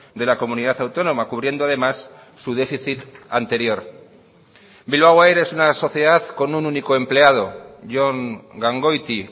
de la comunidad autónoma cubriendo además su déficit anterior bilbao air es una sociedad con un único empleado jon gangoiti